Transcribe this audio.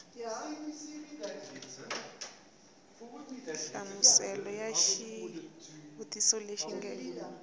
nhlamuselo ya xivuriso lexi nge